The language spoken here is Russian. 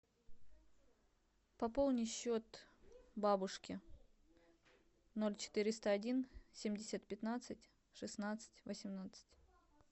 пополни счет бабушки ноль четыреста один семьдесят пятнадцать шестнадцать восемнадцать